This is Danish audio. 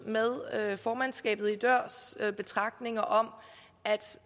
med formandskabet i dørs betragtninger om